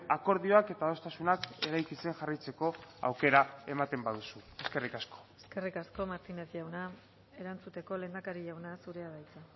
akordioak eta adostasunak eraikitzen jarraitzeko aukera ematen baduzu eskerrik asko eskerrik asko martínez jauna erantzuteko lehendakari jauna zurea da hitza